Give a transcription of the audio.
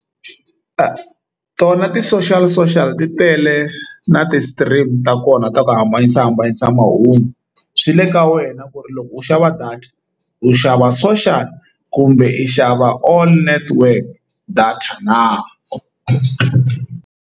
Tona ti-social social ti tele na ti-stream ta kona ta ku hambanisa hambanisa mahungu swi le ka wena ku ri loko u xava data u xava social kumbe i xava all network data na.